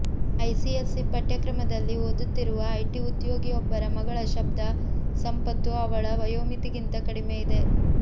ICSE ಪಠ್ಯಕ್ರಮದಲ್ಲಿ ಓದುತ್ತಿರುವ IT ಉದ್ಯೋಗಿಯೊಬ್ಬರ ಮಗಳ ಶಬ್ದ ಸಂಪತ್ತು ಅವಳ ವಯೋಮಿತಿಗಿಂತ ಕಡಿಮೆ ಇದೆ